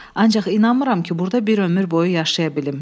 Ancaq inanmıram ki, burda bir ömür boyu yaşaya bilim.